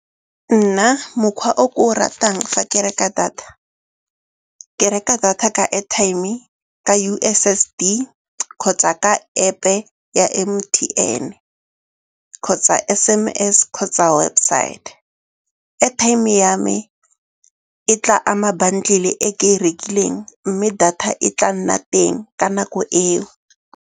Nna mokgwa o ke o ratang fa ke reka data, ke reka data ka airtime-e, ka U_S_S_D kgotsa ka App-e ya M_T_N, kgotsa S_M_S kgotsa websaete. Airtime ya me e tla ama bundle-e e ke e rekileng mme data e tla nna teng ka nako eo.